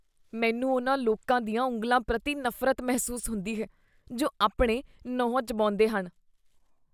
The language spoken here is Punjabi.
ਮੈਨੂੰ ਉਨ੍ਹਾਂ ਲੋਕਾਂ ਦੀਆਂ ਉਂਗਲਾਂ ਪ੍ਰਤੀ ਨਫ਼ਰਤ ਮਹਿਸੂਸ ਹੁੰਦੀ ਹੈ ਜੋ ਆਪਣੇ ਨਹੁੰ ਚਬਾਉਂਦੇ ਹਨ।